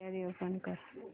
gallery open कर